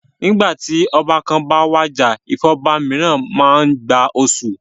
Nígbà tí ọba kan bá wàjà ìfọba mìíràn jẹ máa gba oṣù.